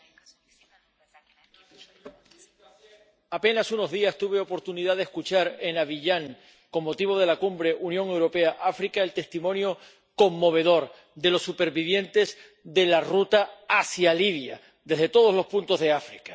Señora presidenta, hace apenas unos días tuve oportunidad de escuchar en Abiyán, con motivo de la Cumbre Unión Europea África, el testimonio conmovedor de los supervivientes de la ruta hacia Libia desde todos los puntos de África.